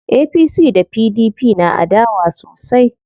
APC da PDP na adawa sosai.